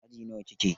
Aji nawa kike?